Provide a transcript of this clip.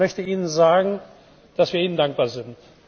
Ich möchte Ihnen sagen, dass wir Ihnen dankbar sind.